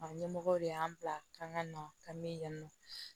Ɲɛmɔgɔw de y'an bila ka na ka mi nɔ